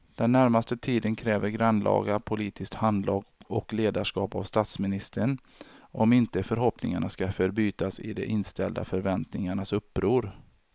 Den närmaste tiden kräver grannlaga politiskt handlag och ledarskap av statsministern om inte förhoppningarna ska förbytas i de inställda förväntningarnas uppror.